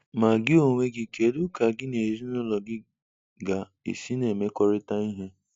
Ma gị onwe gị, kedu ka gị na ezinụlọ gị ga-esi na-emekọrịta ihe?